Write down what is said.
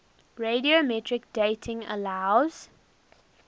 radiometric dating allows